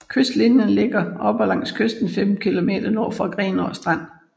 Kystklinterne ligger oppe langs kysten 15 kilometer nord for Grenaa Strand